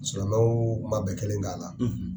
Sulamaw man bɛn kelen kan a la.